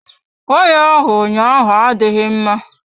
Waya ahụ ụnyaahụ adịghị mma.